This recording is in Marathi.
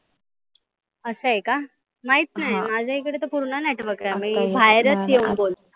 असं आहे का? माहित नाही माझा इकडे पुर्ण नेटवर्क आहे. मी बाहेरच येऊन बोल